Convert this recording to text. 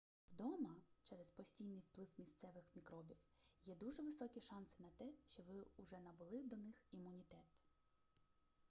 вдома через постійний вплив місцевих мікробів є дуже високі шанси на те що ви уже набули до них імунітет